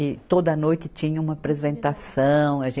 E toda noite tinha uma apresentação. a gen